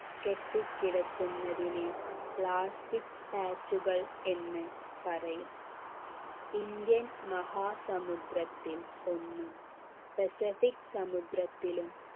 കെട്ടിക്കിടക്കുന്നതിനെ plastic patch കൾ എന്ന് പറയും indian മഹാസമുദ്രത്തിൽ ഒന്നും പസഫിക് സമുദ്രത്തിലും